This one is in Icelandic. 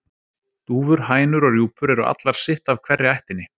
Dúfur, hænur og rjúpur eru allar sitt af hverri ættinni.